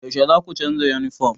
Yaushe zaku canza yunifom?